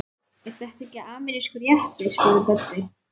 Er þetta ekki amerískur jeppi? spurði Böddi.